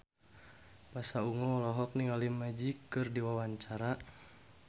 Pasha Ungu olohok ningali Magic keur diwawancara